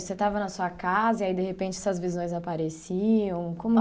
Isso? Você estava na sua casa e aí de repente essas visões apareciam? Como